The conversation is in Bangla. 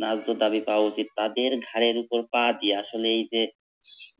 ন্যায্য দাবি পাওয়া উচিৎ তাদের ঘাড়ের উপর পা দিয়া আসলে এই যে